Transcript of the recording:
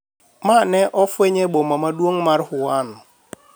mane ofweny e boma maduong' mar Wuhan